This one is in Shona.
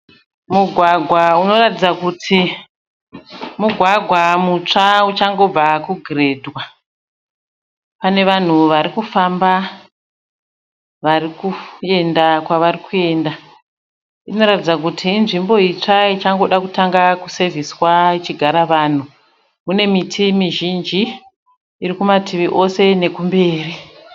Mugwagwa unoratidza kuti mugwagwa mutsva uchangobva kugirendwa. Pane vanhu varikufamba varikuenda kwarikuenda. Inoratidza kuti inzvimbo itsva ichangoda kutanga kusevhiswa ichigara vanhu. Mune miti mizhinji irikumativi ose nekumberi.